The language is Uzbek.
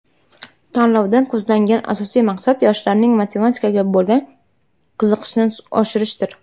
Tanlovdan ko‘zlangan asosiy maqsad yoshlarning matematikaga bo‘lgan qiziqishini oshirishdir.